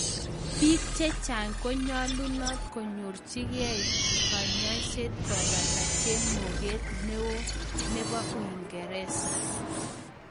Piik chechang konyaluunat konyorchi geii kanyaiset kopataa chemokeet neo neboo uingeresa